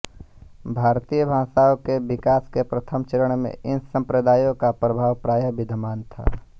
भारतीय भाषाओं के विकास के प्रथम चरण में इन सम्प्रदायों का प्रभाव प्रायः विद्यमान था